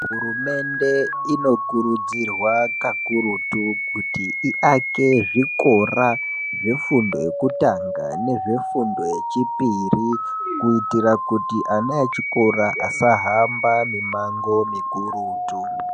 Hurumende inokurudzirwa kakurutu kuti iake zvikora zvefundo yekutanga nezvefundo yechipiri kuitira kuti ana echikora asahamba mimango mikurutu.